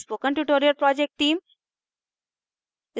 spoken tutorial project team: